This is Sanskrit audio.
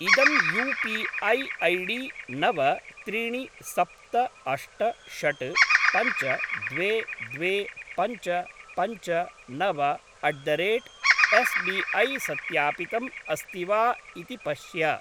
इदं यू पी ऐ ऐडी नव त्रीणि सप्त अष्ट षड् पञ्च द्वे द्वे पञ्च पञ्च नव अट् द रेट् एस्बिऐ सत्यापितम् अस्ति वा इति पश्य।